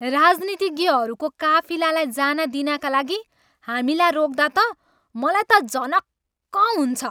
राजनीतिज्ञहरूको काफिलालाई जान दिनाका लागि हामीलाई रोक्दा त मलाई त झनक्क हुन्छ।